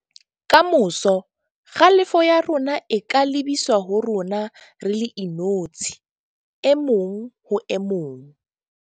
Ka moso, kgalefo ya rona e ka lebiswa ho rona re le inotshi - e mong ho e mong.